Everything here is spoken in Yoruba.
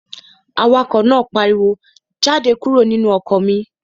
Awakọ̀ náà pariwo, "Jáde kúrò nínú ọkọ̀ mi!"